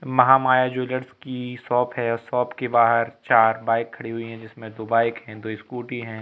महा माया ज्वैलर्स की शाॅप है और शाॅप के बाहर चार बाइक खड़ी हुई हैं जिसमें दो बाइक हैं दो स्कूटी हैं।